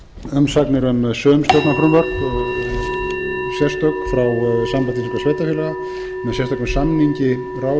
umsagnir um sum stjórnarfrumvörp sérstök frá sambandi íslenskum sveitarfélaga með sérstökum samningi ráðuneyta og